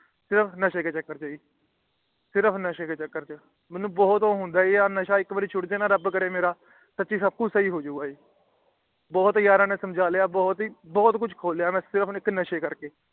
ਸਿਰਫ ਨਸ਼ੇ ਦੇ ਚੱਕਰ ਛੇ ਜੀ ਸਿਰਫ ਨਸ਼ੇ ਦੇ ਚੱਕਰ ਛੇ ਜੀ ਮੇਨੂ ਬਹੁਤ ਊ ਹੁੰਦਾ ਹੈ ਜੀ ਕਿ ਰਬ ਕਰੇ ਇਕ ਬਾਰ ਨਸ਼ਾ ਛੁਟ ਜੇ ਨਾ ਆ ਮੇਰਾ ਤਾਂ ਸਬ ਕੁਛ ਸਹੀ ਹੋ ਜੁਗ ਜੀ ਬਹੁਤ ਯਾਰਾ ਨੇ ਸਮਝਾ ਲਿਆ ਮੈ ਬਹੁਤ ਕੁਛ ਖੋ ਲਿਆ ਜੀ ਨਸ਼ੇ ਦੇ ਕਰਕੇ